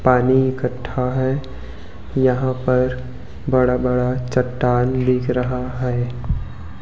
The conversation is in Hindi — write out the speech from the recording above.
पानी इकट्ठा है यहां पर बड़ा बड़ा चट्टान दिख रहा है।